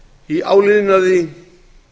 í áliðnaði